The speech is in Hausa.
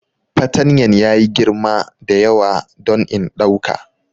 Fatanyan ya yi girma da yawa don in ɗauka.